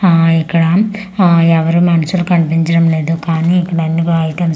ఆ ఇక్కడ ఆ ఎవ్వరు మనుషులు కనిపించడం లేదు కానీ ఇక్కడ అన్నీ బా ఐటమ్స్ .